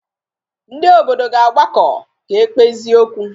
Ndị obodo ga-agbakọ ka e kpezie okwu